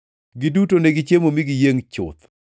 Giduto negichiemo mi giyiengʼ chuth,